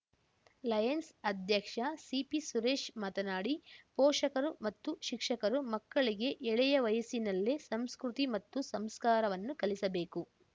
Lions ಅಧ್ಯಕ್ಷ CP Suresh ಮಾತನಾಡಿ ಪೋಷಕರು ಮತ್ತು ಶಿಕ್ಷಕರು ಮಕ್ಕಳಿಗೆ ಎಳೆಯ ವಯಸ್ಸಿನಲ್ಲೇ ಸಂಸ್ಕೃತಿ ಮತ್ತು ಸಂಸ್ಕಾರವನ್ನು ಕಲಿಸಬೇಕು